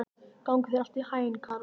Gangi þér allt í haginn, Karol.